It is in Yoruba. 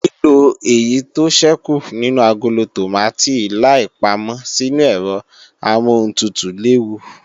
Lílo èyí tó ṣẹ́kù nínú agolo tòmátì láì pámọ́ sínu ẹ̀rọ amọ́huntutù léwu